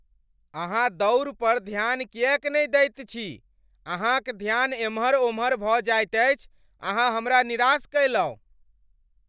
अहाँ दौड़ पर ध्यान किएक नहि दैत छी? अहाँक ध्यान एमहर ओमहर भऽ जाइत अछि। अहाँ हमरा निराश कयलहुँ।